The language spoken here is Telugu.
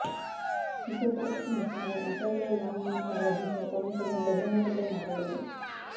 ఇసుక కొరతకు నిరసనగా విశాఖలో లాంగ్ మార్చ్ నిర్వహించిన పవన్ కళ్యాణ్ బహిరంగ సభలో మాట్లాడారు